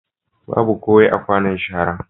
Babu kowai a kwanon shara.